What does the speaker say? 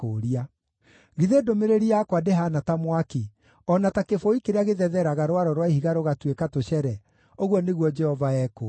“Githĩ ndũmĩrĩri yakwa ndĩhaana ta mwaki, o na ta kĩbũi kĩrĩa gĩthetheraga rwaro rwa ihiga rũgatuĩka tũcere?” ũguo nĩguo Jehova ekũũria.